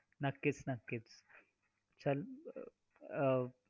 कुठे बाहेर जायचं असल्यास दादाला सोबत घेऊन जा खेळ खेळतील खेळतानाही मुलींना आपण भांडी आधी घेऊन देतो.